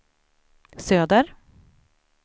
söder